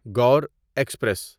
Gor express